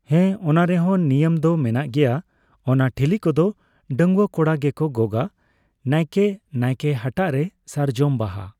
ᱦᱮᱸ ᱚᱱᱟ ᱨᱮᱦᱚᱸ ᱱᱤᱭᱚᱢ ᱫᱚ ᱢᱮᱱᱟᱜ ᱜᱮᱭᱟ ᱾ ᱚᱱᱟ ᱴᱷᱤᱞᱤ ᱠᱚᱫᱚ ᱰᱟᱹᱝᱣᱟᱹ ᱠᱚᱲᱟᱜᱮᱠᱚ ᱜᱚᱜᱼᱟ ᱾ ᱱᱟᱭᱠᱮ ᱱᱟᱭᱠᱮ ᱦᱟᱴᱟᱜ ᱨᱮ ᱥᱟᱨᱡᱚᱢ ᱵᱟᱦᱟ